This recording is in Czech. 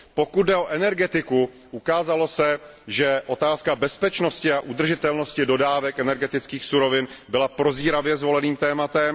Pokud jde o energetiku, ukázalo se, že otázka bezpečnosti a udržitelnosti dodávek energetických surovin byla prozíravě zvoleným tématem.